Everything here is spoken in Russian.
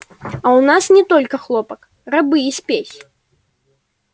а у нас есть только хлопок рабы и спесь